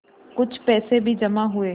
कुछ पैसे भी जमा हुए